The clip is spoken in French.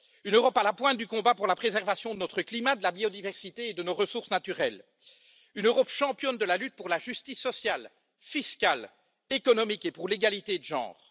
Une Europe à la pointe du combat pour la préservation de notre climat, de la biodiversité et de nos ressources naturelles une Europe championne de la lutte pour la justice sociale, fiscale, économique et pour l'égalité de genre